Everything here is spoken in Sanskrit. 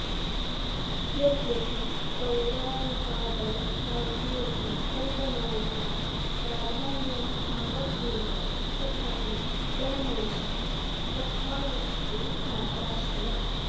यद्यपि पौराणिकादौ काव्येऽपि कल्पनायाः प्राधान्यं भवत्येव तथापि गणनैषा कथावस्तुमात्राश्रया